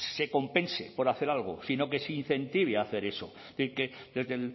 se compense por hacer algo sino que se incentive hacer eso es decir que desde